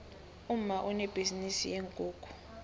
umma unebhizinisi yeenkukhu